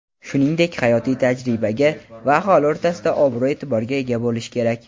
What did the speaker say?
shuningdek hayotiy tajribaga va aholi o‘rtasida obro‘-e’tiborga ega bo‘lishi kerak.